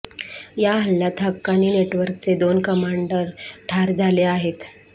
या हल्ल्यात हक्कानी नेटवर्कचे दोन कमांडर ठार झाले आहेत